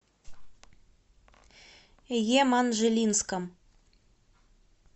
еманжелинском